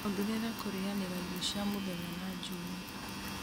ongerera kũrĩanĩra irio cia mũthenya na Juma